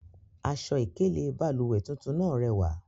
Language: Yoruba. Aṣọ-ikele bálúwẹ̀ tuntun naa rẹwa.